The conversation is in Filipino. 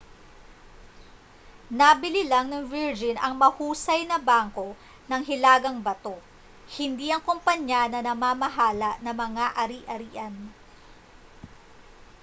nabili lang ng virgin ang ‘mahusay na bangko’ ng hilagang bato hindi ang kompanya na namamahala ng mga ari-arian